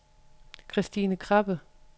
Kristine Krabbe